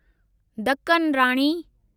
Deccan Rani